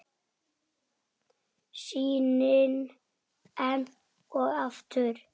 Sýnin enn og aftur.